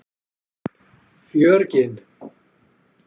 Fjörgyn